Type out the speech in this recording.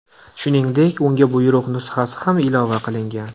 Shuningdek, unga buyruq nusxasi ham ilova qilingan.